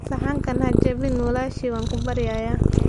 Saxanka ha jabin walaashay waan ku baryayaa.